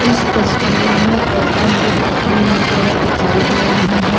इस तस्वीर में गौतम बुद्ध की मूर्तियां दिखाई दे रही हैं।